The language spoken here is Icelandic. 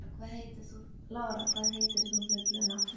Lára, hvað heitir þú fullu nafni?